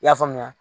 I y'a faamuya